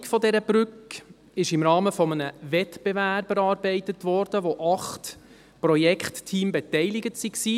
Die Gestaltung der Brücke wurde im Rahmen eines Wettbewerbs erarbeitet, an dem acht Projektteams beteiligt waren.